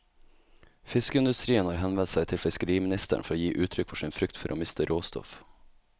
Fiskeindustrien har henvendt seg til fiskeriministeren for å gi uttrykk for sin frykt for å miste råstoff.